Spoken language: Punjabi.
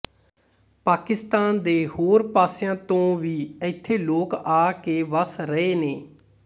ਪਾਕਿਸਤਾਨ ਦੇ ਹੋਰ ਪਾਸਿਆਂ ਤੋਂ ਵੀ ਇਥੇ ਲੋਕ ਆ ਕੇ ਵਸ ਰਏ ਨੇ